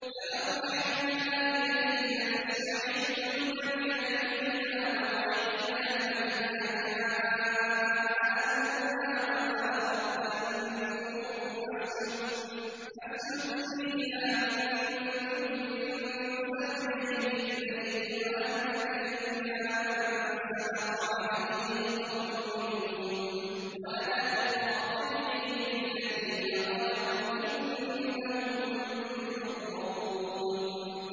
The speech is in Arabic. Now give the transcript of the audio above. فَأَوْحَيْنَا إِلَيْهِ أَنِ اصْنَعِ الْفُلْكَ بِأَعْيُنِنَا وَوَحْيِنَا فَإِذَا جَاءَ أَمْرُنَا وَفَارَ التَّنُّورُ ۙ فَاسْلُكْ فِيهَا مِن كُلٍّ زَوْجَيْنِ اثْنَيْنِ وَأَهْلَكَ إِلَّا مَن سَبَقَ عَلَيْهِ الْقَوْلُ مِنْهُمْ ۖ وَلَا تُخَاطِبْنِي فِي الَّذِينَ ظَلَمُوا ۖ إِنَّهُم مُّغْرَقُونَ